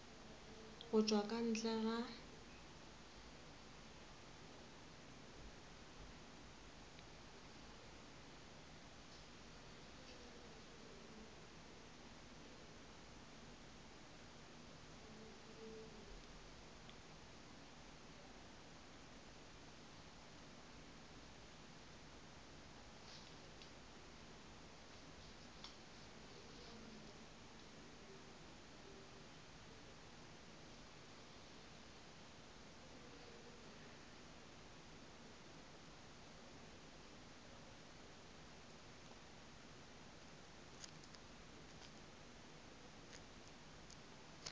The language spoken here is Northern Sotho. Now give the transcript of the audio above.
go tšwa ka ntle ga